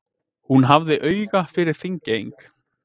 Hún hafði auga fyrir Þingeying.